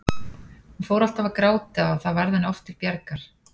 Hún fór alltaf að gráta og það varð henni oft til bjargar.